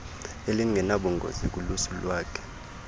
elinganobungozi kulusu lwakhe